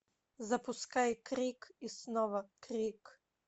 запускай крик и снова крик